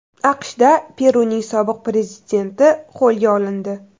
AQShda Peruning sobiq prezidenti qo‘lga olindi.